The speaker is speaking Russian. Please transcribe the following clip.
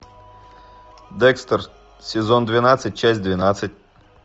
декстер сезон двенадцать часть двенадцать